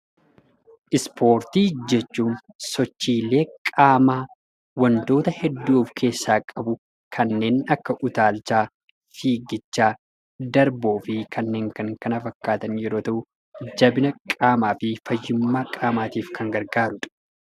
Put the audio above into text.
Ispoortii jechuun sochiilee qaamaa wantoota hedduu of keessaa qabu kanneen akka utaalchaa, fiiggichaa, darboo fi kanneen kan kana fakkaatan yeroo ta'u jabina qaamaa fi fayyummaa qaamaatiif kan gargaarudha.